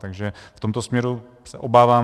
Takže v tomto směru se obávám.